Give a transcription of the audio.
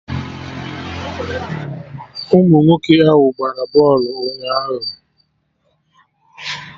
Ụmụ nwoke ahụ gbara bọlụ ụnyaahụ